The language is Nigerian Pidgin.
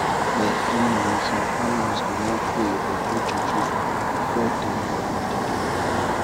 i say eeh some families go wan pray or do juju before dem go need dia work.